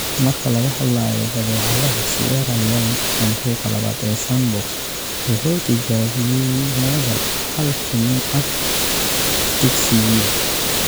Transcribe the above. Marka laga hadlayo badeecadaha, Sierra Leone, santuuqa labaad ee sandbox wuxuu tijaabiyay moodal 'hal kiniin ah dugsigiiba'